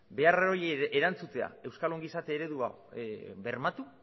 behar horiei erantzutea euskal ongizate eredua bermatu